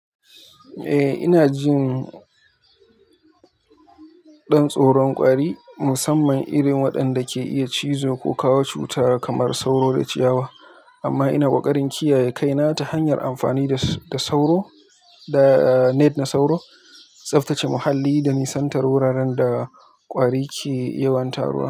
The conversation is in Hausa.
Eh, ina jin ɗan tsoron ƙwari, musamman irin waɗanda ke iya cizo ko kawo cuta kamar sauro da ciyawa. Amma ina ƙoƙarin kiyaye kaina ta hanyar amfani da net na sauro, tsaftace muhalli da nisantar wuraren da ƙwari ke yawan taruwa.